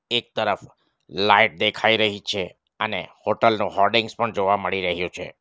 એક તરફ લાઈટ દેખાઈ રહી છે અને હોટલ નું હોડિંગ પણ જોવા મળી રહ્યો છે.